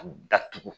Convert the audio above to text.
A datugu